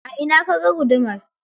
A ina kaga gudumar?